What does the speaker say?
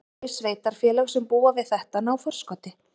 Þau sveitarfélög sem búa við þetta ná forskoti.